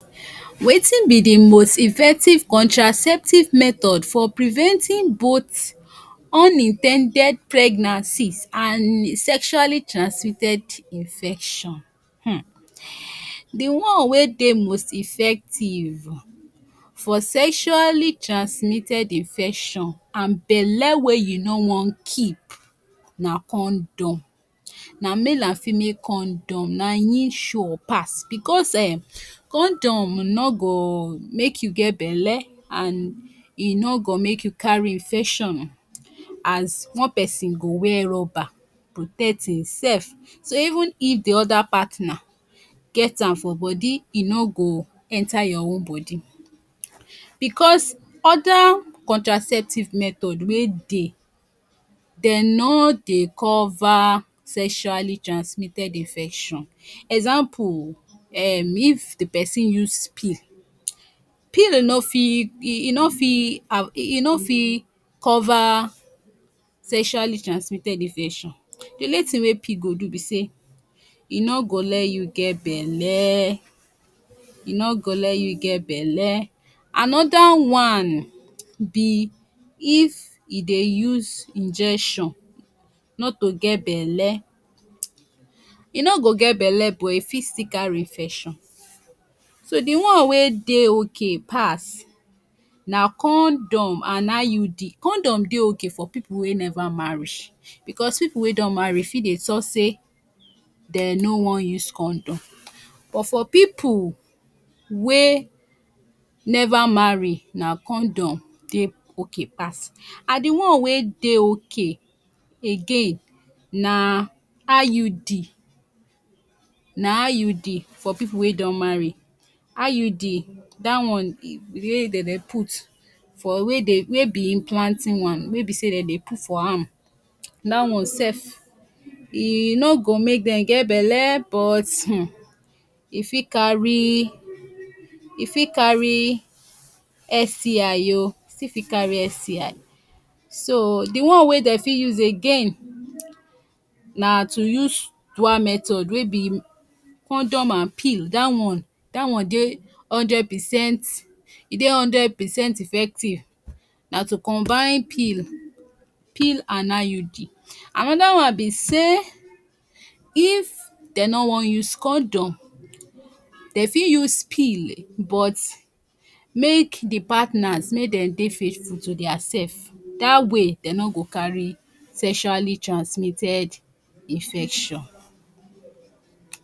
Wetin be the most effective contraceptive method for preventing both unin ten ded pregnancies and sexually transmitted infection um the one wey Dey most effective for sesually transmitted infection and belle wey you no wan keep na condom, na male and female condom na him sure pass bccs um condom no go make you get belle and e no go make u carry infection as one person go wear rubber protect hinsef so even if the other partner get am for body e no go enter your own body bcuz oda contraceptive method wey Dey den no Dey cover sesually transmitted infection, example um if d pesin use pee, pee e no fi, e no fi cover sesually transmitted infetion, d only tin wey pee go do be say e no go le you get belle e no go le you get belle, another one e if u Dey use injection not to get belle, u no go get belle but u fi still carry infection so the one wey Dey okay pass na condom and IUD, condom Dey okay for pipu wey never marry bcuz pipu wey don marry fi Dey tal say de no wan use condom but for pipu wey never marry na condom Dey okay pass and the one wey Dey okay again na IUD na IUD for pipu wey don marry, IUD da one wey den Dey put for Wer e be planting one, wey be say den Dey put for ham, dat one sef e no go make dem get belle but um u fi carry STI o, u fit still carry STI, so d one wey den fi use again na to use dual method wey be condom and peel, dat one Dey hundred percent, e Dey hundred percent effective, na to combine peel peel and IUD, another one be say if den no wan use condom, de fi use peel but make d partners, make den Dey faithful to diasef dat way den no go carry sesually transmitted infection.